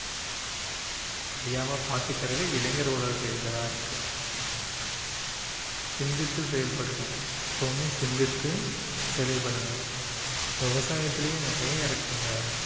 அதை அழியாம பாத்துக்கிறது இளைஞர்களோட கையில தான் இருக்கு சிந்தித்து செயல்படணும், எப்பவுமே சிந்தித்து செயல்படணும் இப்போ விவசயத்துலயே நிறைய இருக்குங்க.